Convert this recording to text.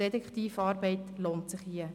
Detektivarbeit lohnt sich hier.